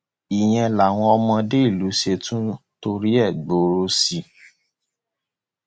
ìyẹn làwọn ọmọdé ìlú ṣe tún torí ẹ gbọrọ sí i